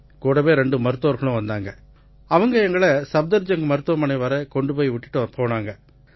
கூடவே ரெண்டு மருத்துவர்களும் வந்தாங்க அவங்க எங்களை சஃப்தர்ஜங்க் மருத்துவமனை வரை கொண்டு விட்டுப்போனங்க